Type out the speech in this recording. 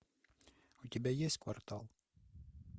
у тебя есть квартал